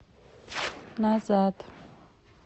назад